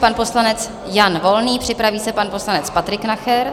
Pan poslanec Jan Volný, připraví se pan poslanec Patrik Nacher.